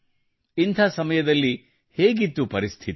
ಇಂಥ ಸಮಯದಲ್ಲಿ ಹೇಗಿತ್ತು ಪರಿಸ್ಥಿತಿ